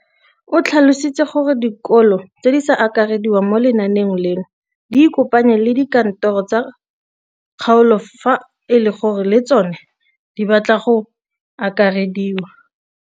O tlhalositse gore dikolo tse di sa akarediwang mo lenaaneng leno di ikopanye le dikantoro tsa kgaolo fa e le gore le tsona di batla go akarediwa.